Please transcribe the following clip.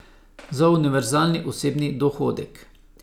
Za univerzalni osebni dohodek.